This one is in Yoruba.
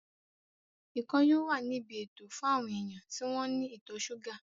Ikàn yóò wà ní ibi ètò fún àwọn èèyàn tí wọ́n ní ìtọ̀ súgà